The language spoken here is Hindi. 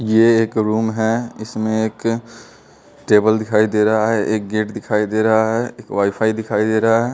ये एक रूम हैं इसमें एक टेबल दिखाई दे रहा है एक गेट दिखाई दे रहा है एक वायफाय दिखाई दे रहा है।